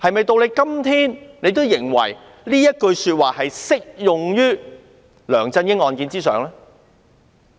到了今天，她是否仍然認為這句話適用於梁振英案件呢？